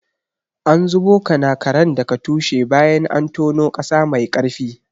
An zubo kanakaren daga tushe bayan an tono ƙasa mai ƙarfi.